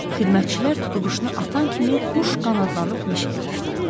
Xidmətçilər tutquşunu atan kimi quş qanadlanıb mişiyə uçdu.